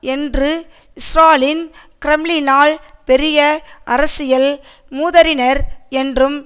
இன்று ஸ்ராலின் கிரெம்ளினால் பெரிய அரசியல் மூதறிஞர் என்றும்